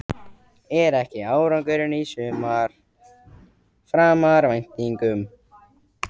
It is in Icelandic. Er ekki árangurinn í sumar framar væntingum?